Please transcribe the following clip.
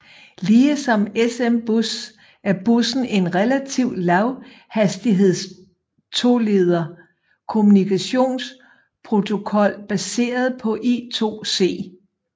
Ligesom SMBus er bussen en relativ lavhastigheds toleder kommunikationsprotokol baseret på I²C